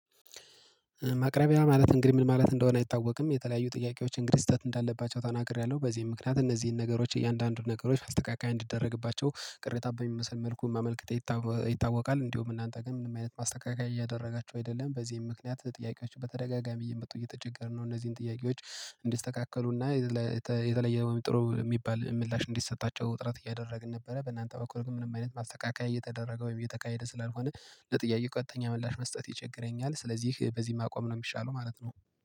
ማቅረቢያ ማለት እንግዲህ ምን ማለት እንደሆነ አይታወቅም የተለያዩ ጥያቄዎች እንግዲህ ስህተት እንዳለባቸው ተናግሬያለሁ በዚህ ምክንያት እነዚህን ነገሮች እያንዳንዱን ነገሮች ማስተካክያ እንዲደረግባቸው ቅሬታ በሚመስል መልኩ ማመልከቴ ይታወቃል። እንዲሁ እናንተ ግን ምንም አይነት ማስተካከያ እያደረጋችሁ አይደለም በዚህም ምክንያት ጥያቄዎች በተደጋጋሚ እየመጡ እየተቸገርነው እነዚህን ጥያቄዎች እንዲስተካክሉና የተለየ ጥሩ የሚባል ምላሽ እንዲሰጣቸው ጥረት እያደረግን ነበረ። በእናንተ በኩል ግን ምንም አይነት ማስተካከያ እየተደረገ ወይም እየተካሄደ ስላልሆነ ለጥያቄ ቀጥተኛ ምላሽ መስጠት ይቸገረኛል። ስለዚህ በዚህ ማቆም ነው የሚሻለው ማለት ነው